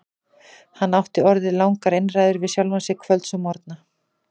Hann átti orðið langar einræður við sjálfan sig kvölds og morgna.